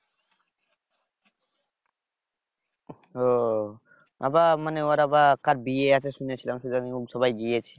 ও আবার মানে ওর আবার কার বিয়ে আছে শুনেছিলাম সে জন্নি সবাই গিয়েছে